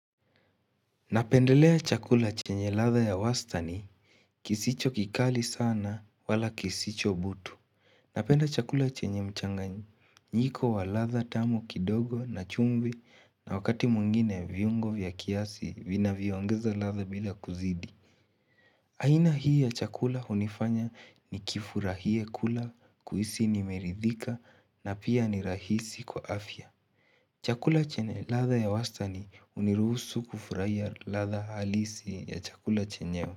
Napendelea chakula chenye ladha ya wastani kisicho kikali sana wala kisicho butu. Napenda chakula chenye mchanganyiko wa ladha tamu kidogo na chumvi na wakati mwingine viungo vya kiasi vinavyongeza ladha bila kuzidi. Aina hii ya chakula hunifanya nikifurahie kula kuhisi nimeridhika na pia ni rahisi kwa afya. Chakula chenye ladha ya wastani uniruhusu kufurahia ladha halisi ya chakula chenyewe.